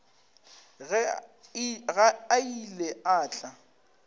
ge a ile a tla